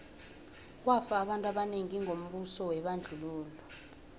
kwafa abantu abanengi ngombuso webandlululo